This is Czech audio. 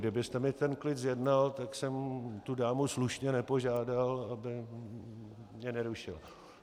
Kdybyste mi ten klid zjednal, tak jsem tu dámu slušně nepožádal, aby mě nerušila.